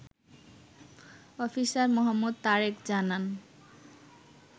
Officer Md. Tarek জানান